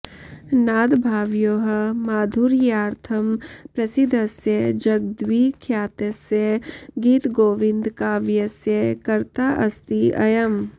नादभावयोः माधुर्यार्थं प्रसिद्धस्य जगद्विख्यातस्य गीतगोविन्दकाव्यस्य कर्ता अस्ति अयम्